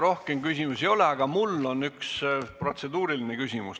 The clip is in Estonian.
Rohkem küsimusi ei ole, aga mul on üks protseduuriline küsimus.